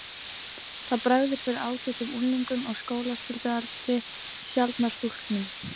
Það bregður fyrir ágætum unglingum á skólaskyldualdri, sjaldnar stúlkum.